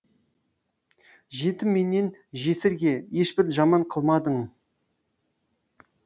жетім менен жесірге ешбір жаман қылмадың